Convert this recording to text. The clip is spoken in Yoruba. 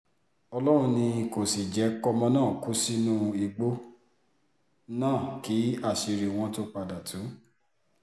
ọlọ́run ni kò sì jẹ́ kọ́mọ náà kú sínú igbó náà kí àṣírí wọn tóó padà tu